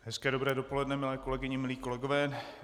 Hezké dobré dopoledne, milé kolegyně, milí kolegové.